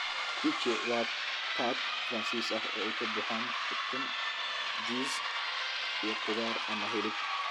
Quiche waa tart Faransiis ah oo ay ka buuxaan ukun, jiis, iyo khudaar ama hilib.